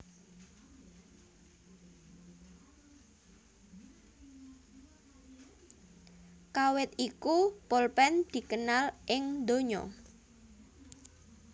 Kawit iku polpen dikenal ing donya